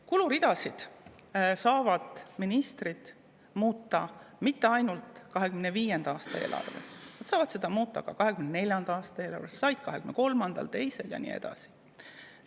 Kuluridasid saavad ministrid muuta mitte ainult 2025. aasta eelarves, nad saavad neid muuta ka 2024. aasta eelarves, nad said neid muuta 2023., 2022. aasta ja nii edasi.